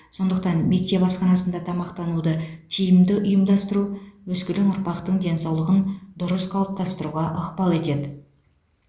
сондықтан мектеп асханасында тамақтануды тиімді ұйымдастыру өскелең ұрпақтың денсаулығын дұрыс қалыптастыруға ықпал етеді